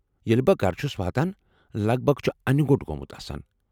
ییٚلہ بہٕ گرٕ چھس واتان لگ بھگ چھُ انہِ گو٘ٹ گومُت آسان ۔